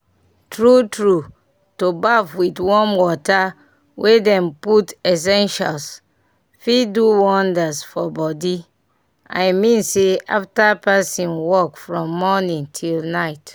true true to baff with warm water wey dem put essentials fit do wonders for body i mean say after person work from morning til night